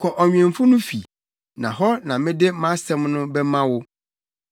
“Kɔ ɔnwemfo no fi, na hɔ na mede mʼasɛm no bɛma wo.”